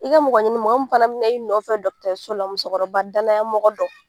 I ka mɔgɔ ɲini mɔgɔ min fana bina i nɔfɛ so la musokɔrɔba danaya mɔgɔ dɔ.